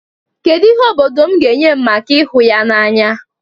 Kedu ihe obodo m ga-enye m maka ịhụ ya n'anya?